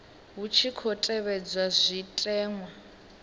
hu tshi khou tevhedzwa zwitenwa